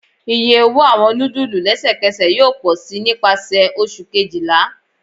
Iye owo awọn nudulu lẹsẹkẹsẹ yoo pọ si nipasẹ Oṣu kejila